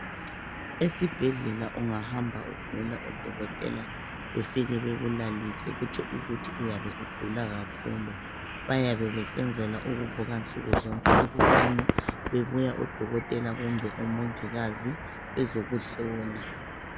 Esibhedlela ungahamba odokotela befike bekulalise kutsho ukuthi uyabe ugula kakhulu. Bayabe besenzela ukuvuka nsukuzonke ekuseni bebuya odokotela kumbe omongikazi bezokuhlola.